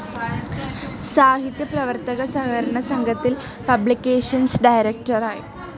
സാഹിത്യ പ്രവർത്തക സഹകരണ സംഘത്തിൽ പബ്ലിക്കേഷൻസ്‌ ഡയറക്ടറായി.